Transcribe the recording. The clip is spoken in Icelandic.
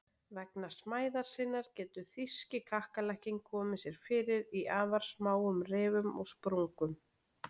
Vegna smæðar sinnar getur þýski kakkalakkinn komið sér fyrir í afar smáum rifum og sprungum.